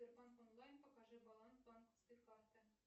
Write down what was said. сбербанк онлайн покажи баланс банковской карты